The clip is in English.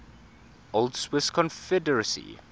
old swiss confederacy